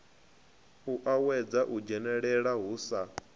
uuwedza u dzhenelela hu sa